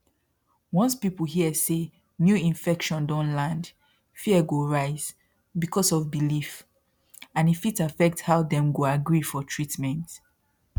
once people hear say new infection don land fear go rise because of belief and e fit affect how dem go agree for treatment